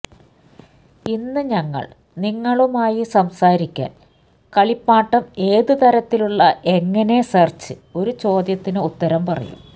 ഇന്ന് ഞങ്ങൾ നിങ്ങളുമായി സംസാരിക്കാൻ കളിപ്പാട്ടം ഏതു തരത്തിലുള്ള എങ്ങനെ സെർച്ച് ഒരു ചോദ്യത്തിന് ഉത്തരം പറയും